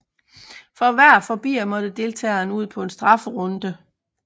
For hver forbier må deltageren ud på en strafferunde